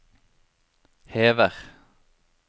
hever